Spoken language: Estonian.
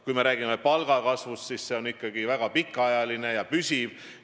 Kui me räägime palgakasvust, siis see on ikkagi väga pikaajaline ja püsiv.